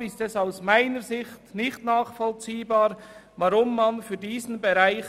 Deshalb ist es aus meiner Sicht nicht nachvollziehbar, weshalb man für diesen Bereich